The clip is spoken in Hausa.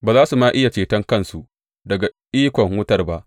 Ba za su ma iya ceton kansu daga ikon wutar ba.